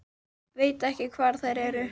Veit ekki hvar þær eru